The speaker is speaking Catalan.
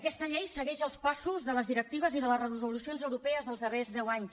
aquesta llei segueix els passos de les directives i de les resolucions europees dels darrers deu anys